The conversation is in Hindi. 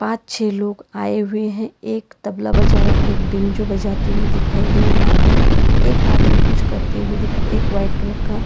अच्छे लोग आए हुए हैं एक तबला बजा रहा है एक बैंजो बजाते हुए दिखाई दे रहा है एक आदमी कुछ करते हुए दिखाएं एक वाइट कलर का--